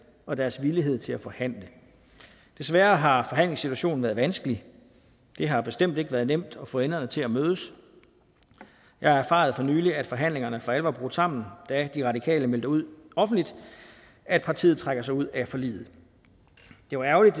og deres villighed til at forhandle desværre har forhandlingssituationen været vanskelig det har bestemt ikke været nemt at få enderne til at mødes jeg erfarede for nylig at forhandlingerne for alvor var brudt sammen da de radikale meldte ud offentligt at partiet trak sig ud af forliget det var ærgerligt